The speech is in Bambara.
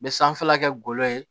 N bɛ sanfɛla kɛ golo ye